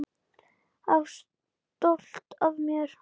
Og stolt af mér.